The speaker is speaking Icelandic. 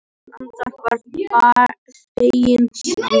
Hún andvarpar feginsamlega.